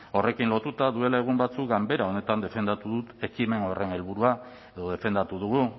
horrekin lotuta duela egun batzuk ganbera honetan defendatu dut ekimen horren helburua edo defendatu dugu